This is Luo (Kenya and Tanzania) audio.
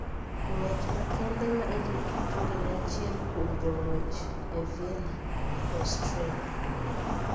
Ng'wech makende ma Eliud Kipchoge ne achiel kuom jong`wech e Vienna, Austria